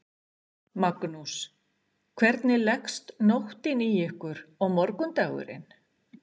Magnús: Hvernig leggst nóttin í ykkur og morgundagurinn?